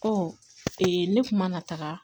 ne kuma na taga